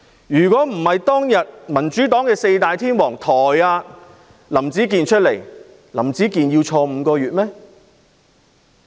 如果不是因為民主黨"四大天王"，林子健要入獄5個月嗎？